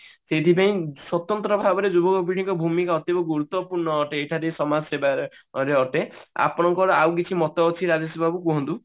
ସେଇଥିପାଇଁ ସ୍ଵତନ୍ତ୍ର ଭାବରେ ଯୁବପିଢିଙ୍କ ଭୂମିକା ଅଧିକା ଗୁରୁତ୍ଵପୂର୍ଣ ଅଟେ ସମାଜସେବା ରେ ଅଟେ ଆପଣଙ୍କର ଆଉ କିଛି ମତ ଅଛି ରାଜେଶ ବାବୁ କୁହନ୍ତୁ